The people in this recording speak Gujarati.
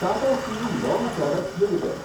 Tata steel long products limited